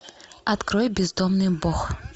открой бездомный бог